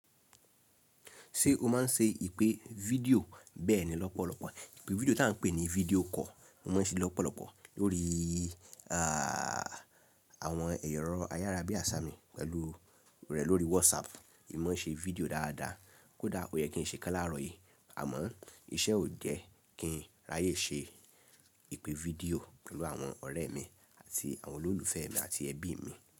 Ṣé o máa ń ṣe ìpè video bẹ́ẹ̀ ni lọ́pọ̀lọpọ̀. Ìpè video tí a ń pè ní video call, mo máa ń ṣe lọ́pọ̀lọpọ̀ lórí, aa, àwọn ẹ̀rọ̀ ayárá bí i asá mì pẹ̀lú rẹ̀ lórí WhatsApp. Èmi máa ń ṣe video dáadáa, kódà ó yẹ kí n ṣe kán lárọ̀ yìí. Àmọ́ iṣẹ́ ò jẹ kí n ráyè ṣe ìpè video pẹ̀lú àwọn ọ̀rẹ́ mi àti àwọn olólùfẹ́ mi àti ẹbí mi.